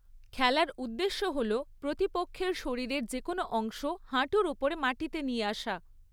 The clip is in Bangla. খেলার উদ্দেশ্য হল প্রতিপক্ষের শরীরের যেকোনো অংশ হাঁটুর ওপরে মাটিতে নিয়ে আসা।